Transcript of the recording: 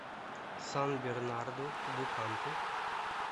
сан бернарду ду кампу